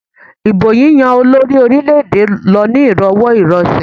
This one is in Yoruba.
Ìbò yíyán olórí orílẹ̀-èdè lọ ní ìrọwọ́ ìrọsẹ̀.